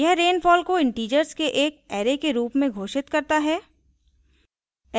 यह rainfall को integers के एक array के रूप में घोषित करता है